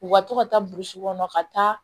U ka to ka taa burusi kɔnɔ ka taa